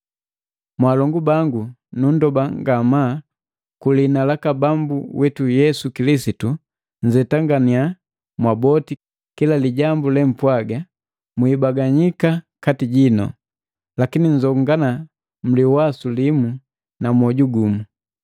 Mwalongu bangu nundoba ngamaa kulihina laka Bambu witu Yesu Kilisitu, nnzetanganiya mwaboti kila lijambu lempwaga, mwibaganika kati jinu. Lakini nzongana mliwasu limu na mwoju gumu.